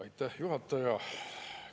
Aitäh, juhataja!